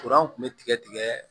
kun bɛ tigɛ tigɛ